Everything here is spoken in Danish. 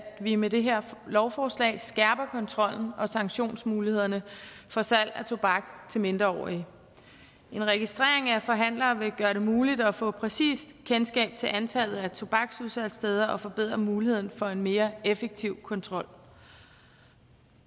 vi med det her lovforslag skærper kontrollen med og sanktionsmulighederne for salg af tobak til mindreårige en registrering af forhandlere vil gøre det muligt at få et præcist kendskab til antallet af tobaksudsalgssteder og forbedre muligheden for en mere effektiv kontrol